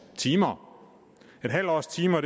timer et halvt års timer er